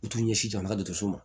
U t'u ɲɛsin jamana dɔkɔtɔrɔso